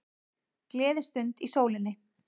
Gleðistund í sólinni